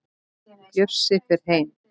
Bjössi fer heim.